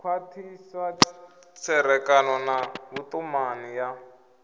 khwathisa tserekano na vhutumani ya